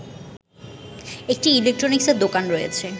একটি ইলেকট্রনিক্সের দোকান রয়েছে